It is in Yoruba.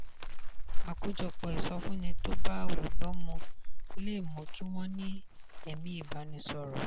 àkójọpọ̀ ìsọfúnni tó bá olùgbọ́ mu le mú kí wọ́n ní ẹ̀mí ìbánisọ̀rọ̀.